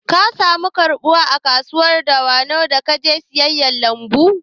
Ka samu karɓuwa a kasuwar dawanau da ka je siyan kayan lambu?